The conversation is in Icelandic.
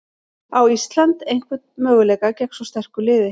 Á Ísland einhvern möguleika gegn svo sterku liði?